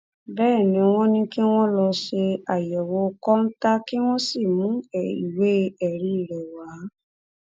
bẹẹ ni wọn ní kí wọn lọọ ṣe àyẹwò kọńtà kí wọn sì mú ìwé ẹrí rẹ wá